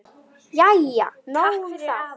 Jæja, nóg um það.